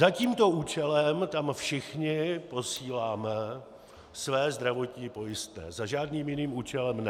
Za tímto účelem tam všichni posíláme své zdravotní pojistné, za žádným jiným účelem ne.